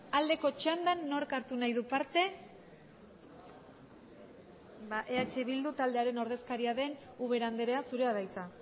aldeko txandan nork hartu nahi du parte ba eh bildu taldearen ordezkaria den ubera andrea zurea da hitza